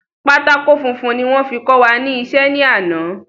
Pátákó funfun ni wón fi kọ wa ní isé ní àná